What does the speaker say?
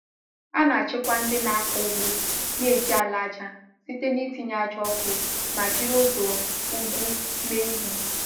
A na-achịkwa ndị na-akọ ugbo na-eji ala aja site n’itinye aja ọkụ ma jiri ụzọ ugwu mee ihe.